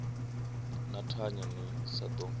ni thanye ni sa ḓo